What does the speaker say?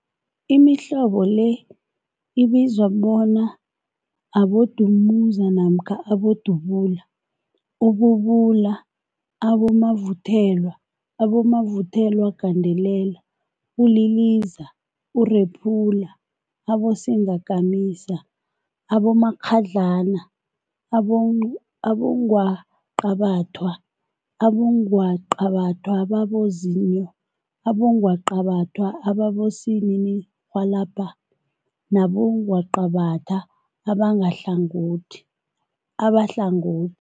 Imihlobo le ibizwa bona abodumuza namkha abodubula, ububula, abomavuthelwa, abomavuthelwagandelela, uliliza, urephula, abosingakamisa, abomakghadlana, abongwaqabathwa, abongwaqabathwa ababozinyo, abongwaqabathwa abosininirhwalabha nabongwaqabatha abahlangothi.